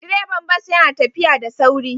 Direban bas yana tafiya da sauri